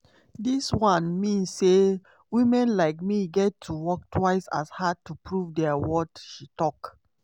dis one mean say women like me get to work twice as hard to prove dia worth" she tok.